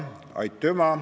Aitüma!